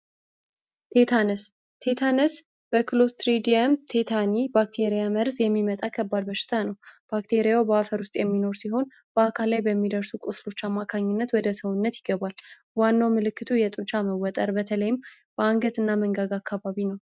ቲታነስ ቲታነስ በክሎዝ ትሬዲየም ቲታኒ ባክቴሪያ መርዝ የሚመጣ ከባድ በሽታ ነው። ባክቴሪያው በአፈር ውስጥ የሚኖር ሲሆን፤ በአካል ላይ በሚደርሱ አማካኝነት ወደ ሰውነት ይገባል። ዋናው ምልክቱ የጡንቻ መወጠር በተለይም በአንገትና መንጋጋ አካባቢ ነው።